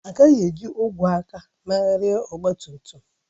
Agakwaghị eji ogwe aka emegharị ọgba tum tum